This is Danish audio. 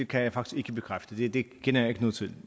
kan jeg faktisk ikke bekræfte det kender jeg ikke noget til